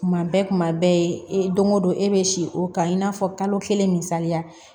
Kuma bɛɛ kuma bɛɛ ee don o don e bɛ si o kan i n'a fɔ kalo kelen misaliya